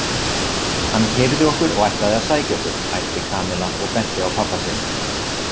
Hann keyrði okkur og ætlaði að sækja okkur æpti Kamilla og benti á pabba sinn.